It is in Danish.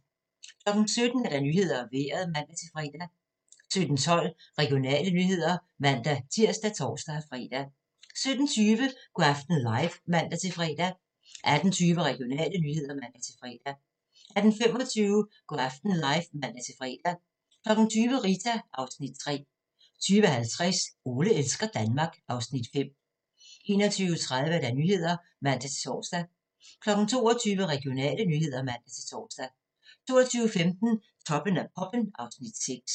17:00: Nyhederne og Vejret (man-fre) 17:12: Regionale nyheder (man-tir og tor-fre) 17:20: Go' aften live (man-fre) 18:20: Regionale nyheder (man-fre) 18:25: Go' aften live (man-fre) 20:00: Rita (Afs. 3) 20:50: Ole elsker Danmark (Afs. 5) 21:30: Nyhederne (man-tor) 22:00: Regionale nyheder (man-tor) 22:15: Toppen af poppen (Afs. 6)